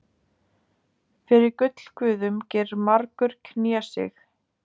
Fyrir gullguðum gerir margur knésig.